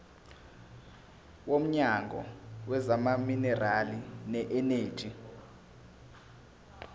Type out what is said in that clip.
womnyango wezamaminerali neeneji